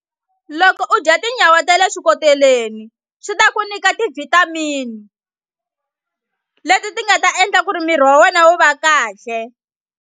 Loko u dya tinyawa ta le swikoteleni swi ta ku nyika ti-vitamin leti ti nga ta endla ku ri miri wa wena wu va kahle.